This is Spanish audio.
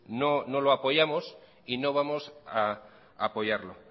no lo apoyamos y no vamos a apoyarlo